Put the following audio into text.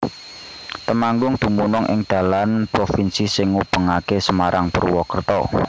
Temanggung dumunung ing dalan provinsi sing ngubungaké Semarang Purwakerta